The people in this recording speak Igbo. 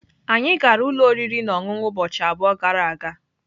Anyị gara ụlọ oriri na ọṅụṅụ ụbọchị abụọ gara aga.